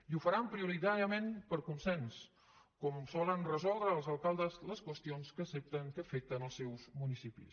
i ho faran prioritàriament per consens com solen resoldre els alcaldes les qüestions que afecten els seus municipis